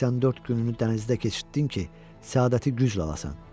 84 gününü dənizdə keçirtdin ki, səadəti güclə alasan.